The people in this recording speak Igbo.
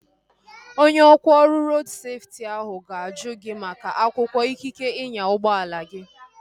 Onye ọkwá ọrụ rodu seftị ahu ga-ajụ gị maka akwụkwọ ikike ịnya ụgbọala gi